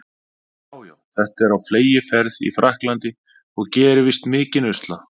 Já, já, þetta er á fleygiferð í Frakklandi og gerir víst mikinn usla.